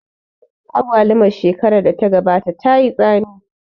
Agwalumar shekarar da ta gabata tayi tsami